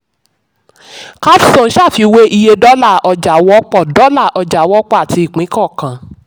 capstone ṣàfiwé iye dọ́là ọjà wọ́pọ̀ dọ́là ọjà wọ́pọ̀ àti ìpín kọ̀ọ̀kan.